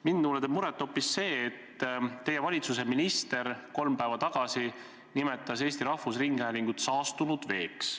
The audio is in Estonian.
Mulle teeb muret hoopis see, et teie valitsuse minister nimetas kolm päeva tagasi Eesti Rahvusringhäälingut saastunud veeks.